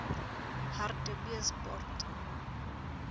hartbeespoort